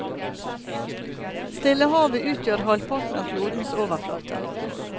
Stillehavet utgjør halvparten av klodens overflate.